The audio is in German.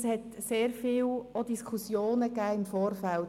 Das Ganze hat im Vorfeld viele Diskussionen ausgelöst.